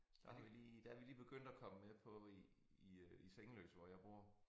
Der vi lige der vi lige begyndt at komme med på i i øh i Sengeløse hvor jeg bor